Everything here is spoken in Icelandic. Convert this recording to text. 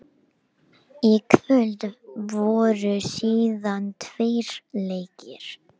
Hún er því engin ef hluturinn er kyrr en vex tiltölulega hratt með hraðanum.